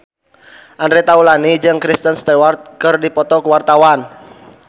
Andre Taulany jeung Kristen Stewart keur dipoto ku wartawan